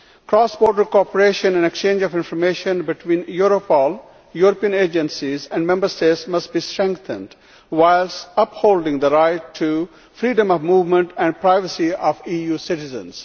Cross-border cooperation and exchange of information between Europol, European agencies and Member States must be strengthened whilst upholding the right to freedom of movement and privacy of EU citizens.